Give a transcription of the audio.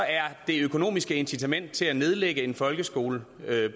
er det økonomiske incitament til at nedlægge en folkeskole